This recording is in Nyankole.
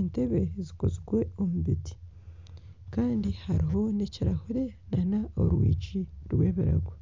entebe zikozirwe omu biti kandi hariho n'ekirahure kandi nana orwigi rw'ebirago.